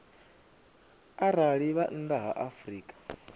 arali vha nnḓa ha afrika